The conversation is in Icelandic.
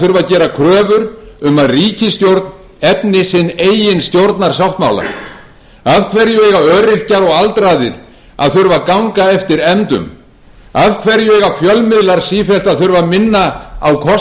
þurfa að gera kröfur um að ríkisstjórn efni sinn eigin stjórnarsáttmála af hverju eiga öryrkjar og aldraðir að þurfa að ganga eftir efndum af hverju eigu fjölmiðlar sífellt að þurfa að minna á